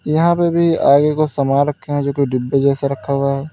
यहां पे भी आगे कुछ सामान रखे हैं जो कि डिब्बे जैसा रखा हुआ है।